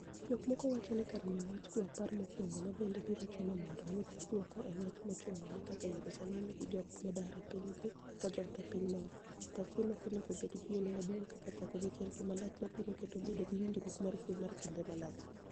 Jok mok wachoni kar miyo wach kwe opara mokwongo ma bende biro chuno mondo mi oyud dwoko e wach mochuno ni kaka Yerusalemu gi jok modar e pinygi kajot e piny moro, pachgi no ok onego bed geno maduong' kaka chako gi chenro malach mabiro keto bedo gi winjruok mar kwe mar kinde malach.